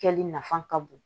Kɛli nafa ka bon